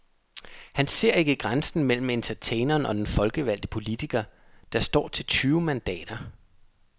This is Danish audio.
Han ser ikke grænsen mellem entertaineren og den folkevalgte politiker, der står til tyve mandater.